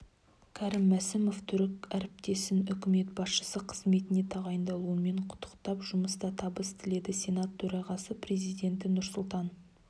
крім мсімов түрік ріптесін үкімет басшысы қызметіне тағайындалуымен құттықтап жұмыста табыс тіледі сенат төрағасы президенті нұрсұлтан